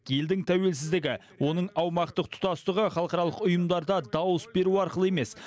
елдің тәуелсіздігі оның аумақтық тұтастығы халықаралық ұйымдарда дауыс беру арқылы емес